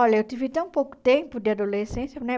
Olha, eu tive tão pouco tempo de adolescência, né?